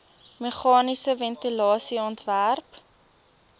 meganiese ventilasie ontwerp